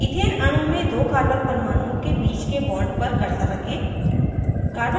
ethane अणु में दो carbon परमाणुओं के बीच के bond पर cursor रखें